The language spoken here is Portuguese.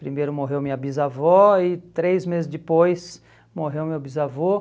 Primeiro morreu minha bisavó e três meses depois morreu meu bisavô.